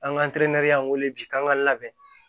An ka y'an wele bi k'an ka labɛn